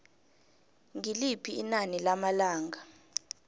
ngiliphi inani lamalanga